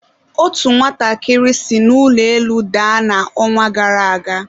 otu nwatakịrị si n'ụlọ elu daa na ọnwa gara aga.